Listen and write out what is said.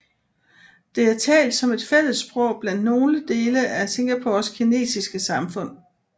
Det er talt som et fælles sprog blandt nogle del af Singapores kinesiske samfund